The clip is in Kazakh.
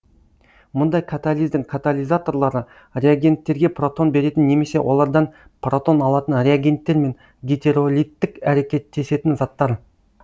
мұндай катализдің катализаторлары реагенттерге протон беретін немесе олардан протон алатын реагенттер мен гетеролиттік әрекеттесетін заттар